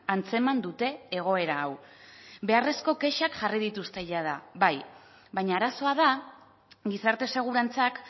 antzeman dute egoera hau beharrezko kexak jarri dituzte jada bai baina arazoa da gizarte segurantzak